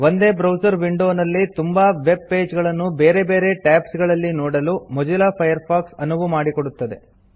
ಒಂದೇ ಬ್ರೌಸರ್ ವಿಂಡೊವಿನಲ್ಲಿ ತುಂಬಾ ವೆಬ್ ಪೇಜ್ ಗಳನ್ನು ಬೇರೆ ಬೇರೆ ಟಾಬ್ಸ್ ಗಳಲ್ಲಿ ನೋಡಲು ಮೊಜಿಲ್ಲಾ ಫೈರ್ಫಾಕ್ಸ್ ಅನುವು ಮಾಡಿಕೊಡುತ್ತದೆ